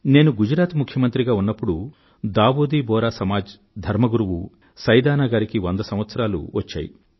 నేను గుజరాత్ ముఖ్యమంత్రిగా ఉన్నప్పుడు దావూదీ బొహ్రా సమాజ్ ధర్మ గురువు సైయదనా గారికి వంద సంవత్సరాలు వచ్చాయి